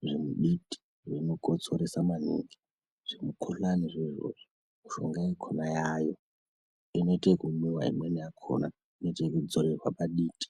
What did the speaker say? zvemuditi zvinokotsoresa maningi zvemukuhlani. Mishonga yakona yayeyo inoita ekumwiwa imweni yakona inodzorerwa paditi.